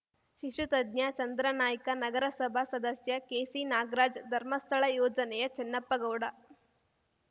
ಶಿಶು ತಜ್ಞ ಚಂದ್ರನಾಯ್ಕ ನಗರಸಭಾ ಸದಸ್ಯ ಕೆಸಿನಾಗರಾಜ್‌ ಧರ್ಮಸ್ಥಳ ಯೋಜನೆಯ ಚನ್ನಪ್ಪಗೌಡ